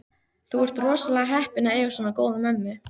Þú ert rosalega heppinn að eiga svona góða mömmu.